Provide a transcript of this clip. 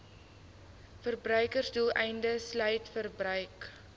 verbruiksdoeleindes sluit verbruik